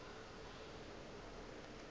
ba be ba kgona go